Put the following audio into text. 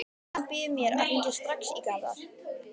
Skyldan býður mér að hringja strax í Garðar.